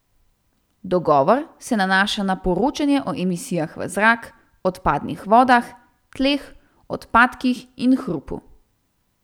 Dogovor se nanaša na poročanje o emisijah v zrak, odpadnih vodah, tleh, odpadkih in hrupu.